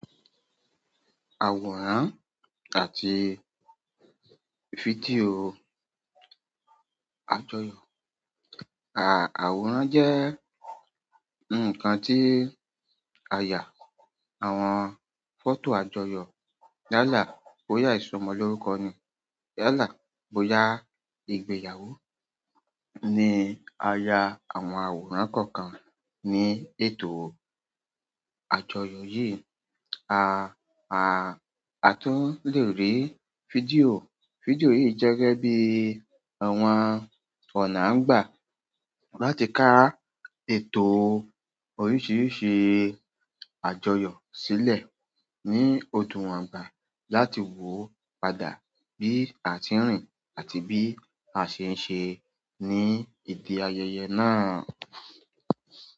Àwòrán àti fídíò àjọyọ̀. À, àwòrán jẹ́ ǹkan tí a yà àwọn fọ́tò àjọyọ̀. Yálàá bóyá ìsọmọlórúkọ ni, yalàá bóyá ìgbéyàwó ni, a ya àwọn àwòrán kọ̀ọ̀kan ní ètò àjọyọ̀ yìí, a, a, a tún le rí fídíò. Fídíò yìí jẹ́ gẹ́ẹ́ bií àwọn ọ̀nà a ń gbà láti ká ètò oríṣìíríṣìí àjọyọ̀ sílẹ̀ ní odúnwongbà láti wò o padà bí a ti ń rìn àti bí a ṣe ń ṣe ní ìdí ayẹyẹ náà.